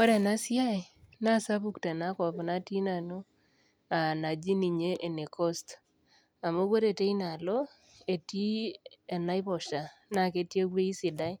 ore ena siai naa sapuk tenakop natii nanu aa enaji ninye ene Coast, amu ore teinaalo, etii enaiposha naa ketii ewueji sidai